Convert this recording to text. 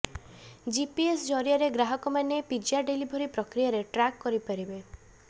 GPS ଜରିଆରେ ଗ୍ରାହକମାନେ pizza delivery ପ୍ରକ୍ରିୟାର ଟ୍ରାକ୍ କରିପାରିବେ